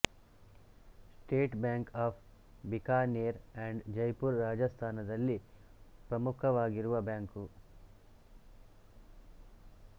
state Bank of Bikaner and Jaipur Rajasthan ದಲ್ಲಿ ಪ್ರಮುಕವಾಗಿರುವ bank